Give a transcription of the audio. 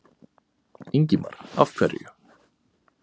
Ingimar: Af hverju?